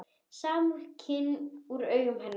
Samúð skín úr augum hennar.